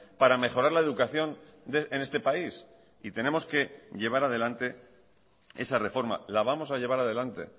para mejorar la educación en este país y tenemos que llevar adelante esa reforma la vamos a llevar adelante